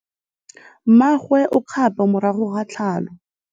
Mmagwe o kgapô morago ga tlhalô.